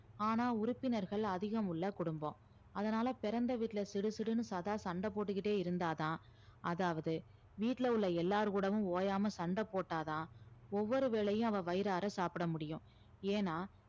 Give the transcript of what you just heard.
ஆனா உறுப்பினர்கள் அதிகம் உள்ள குடும்பம் அதனால பிறந்த வீட்டுல சிடுசிடுன்னு சதா சண்ட போட்டுக்கிட்டே இருந்தாதான் அதாவது வீட்ல உள்ள எல்லார்கூடவும் ஓயாம சண்ட போட்டாதான் ஒவ்வொரு வேலையும் அவ வயிறார சாப்பிட முடியும் ஏன்னா